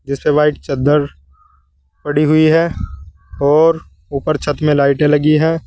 जिसपे व्हाइट चद्दर पड़ी हुई है और ऊपर छत में लाइटें लगी है।